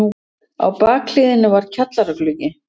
Á bakhliðinni var kjallaragluggi.